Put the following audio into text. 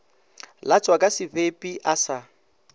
latswa ka sebepi a sa